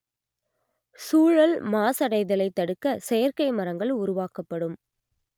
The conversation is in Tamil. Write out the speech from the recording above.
சூழல் மாசடைதலைத் தடுக்க செயற்கை மரங்கள் உருவாக்கப்படும்